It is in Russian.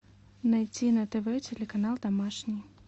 найти на тв телеканал домашний